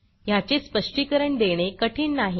ह्याचे स्पष्टीकरण देणे कठीण नाही